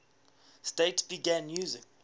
states began using